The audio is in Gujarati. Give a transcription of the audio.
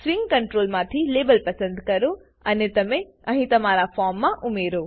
સ્વીંગ કંટ્રોલમાંથી લેબલ પસંદ કરો અને તેને અહીં ફોર્મમાં ઉમેરો